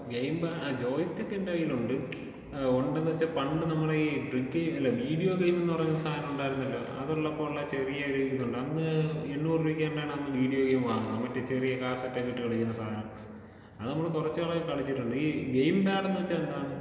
Game pad ആഹ് joy സ്റ്റിക്കെന്റെ കയ്യിലുണ്ട്. ഏഹ് ഉണ്ടെന്ന് വെച്ചാ പണ്ട് നമ്മളെ ഈ നോട്ട്‌ ക്ലിയർ അല്ലാ വീഡിയോ ഗെയിം എന്ന് പറയുന്ന സാധനമുണ്ടായിരുന്നല്ലോ അതുള്ളപ്പോ ഉള്ള ചെറിയൊരു ഇതുണ്ട്.അന്ന് എണ്ണൂറ് രൂപക്ക് എന്തോ ആണ് അന്ന് വിഡിയോ ഗെയിം വാങ്ങുന്നത്.മറ്റേ ചെറിയ കാസറ്റൊക്കെ ഇട്ട് കളിക്കുന്ന സാനം. അത് നമ്മള് കൊറച്ച് നാളൊക്കെ കളിച്ചിട്ടുണ്ട്.ഈ ഗെയിം പാടെന്ന് വെച്ചാ എന്താണ്?